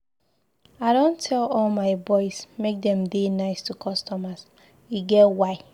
I don tell all my boys make dem dey nice to customers, e get why.